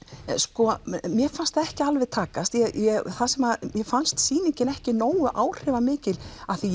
mér fannst það ekki alveg takast mér fannst sýningin ekki nógu áhrifamikil af því að